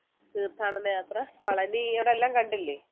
തീർത്ഥാടന യാത്ര പളനി അവിടെ എല്ലാം കണ്ടില്ലേ